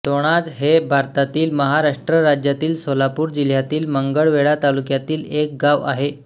दोणाज हे भारतातील महाराष्ट्र राज्यातील सोलापूर जिल्ह्यातील मंगळवेढा तालुक्यातील एक गाव आहे